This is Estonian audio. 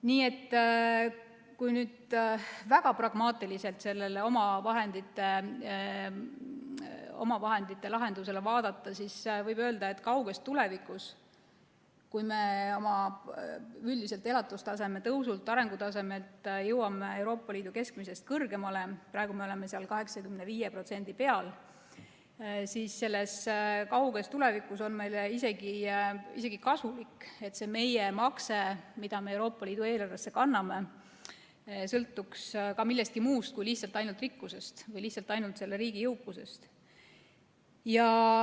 Nii et kui nüüd väga pragmaatiliselt seda omavahendite lahendust vaadata, siis võib öelda, et kauges tulevikus, kui me oma üldise elatustaseme tõusu ja arengutaseme poolest jõuame Euroopa Liidu keskmisest kõrgemale –praegu me oleme 85% peal –, on meile isegi kasulik, et see meie makse, mida me Euroopa Liidu eelarvesse kanname, sõltuks ka millestki muust kui lihtsalt rikkusest või ainult riigi jõukusest.